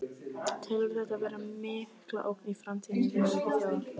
Telurðu þetta vera mikla ógn í framtíðinni við öryggi þjóða?